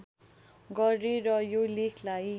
गरेर यो लेखलाई